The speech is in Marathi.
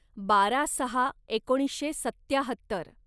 बारा सहा एकोणीसशे सत्त्याहत्तर